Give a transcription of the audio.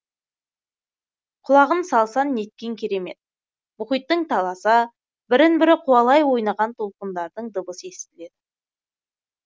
құлағын салсан неткен керемет мұхиттың таласа бірін бірі қуалай ойнаған толқындардың дыбысы естіледі